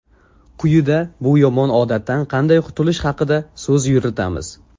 Quyida bu yomon odatdan qanday qutulish haqida so‘z yuritamiz.